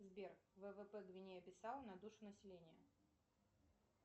сбер ввп гвинея бисау на душу населения